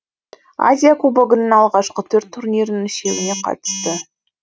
азия кубогының алғашқы төрт турнирінің үшеуіне қатысты